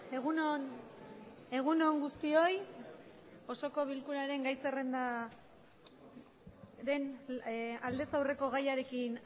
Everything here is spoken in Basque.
egun on egun on guztioi osoko bilkuraren gai zerrendaren aldez aurreko gaiarekin